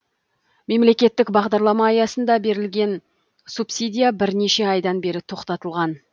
мемлекеттік бағдарлама аясында берілетін субсидия бірнеше айдан бері тоқтатылған